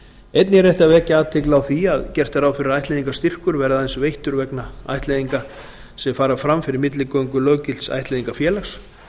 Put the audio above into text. einnig er rétt að vekja athygli á því að gert er ráð fyrir að ættleiðingarstyrkur verði aðeins veittur vegna ættleiðinga sem fara fram fyrir milligöngu löggilts ættleiðingarfélags